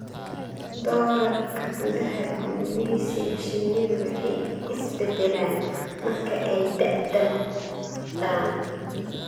Doorarka gudaha gumeysiga shinnidu way is beddelaan marka ay da'da noqdaan.